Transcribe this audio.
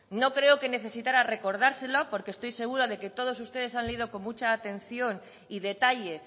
no creo que necesitara recordárselo porque estoy segura de que todos ustedes han leído con mucha atención y detalle